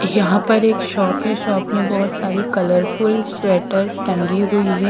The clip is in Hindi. यहां पर एक शॉप है शॉप में बहुत सारी कलरफुल स्वेटर लगी हुई है।